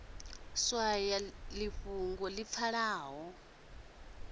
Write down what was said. swaya ḽi fhungoni ḽi pfalaho